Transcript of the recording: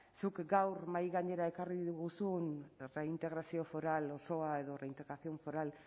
zuk gaur mahai gainera ekarri diguzun reintegrazio foral osoa edo reintegración foral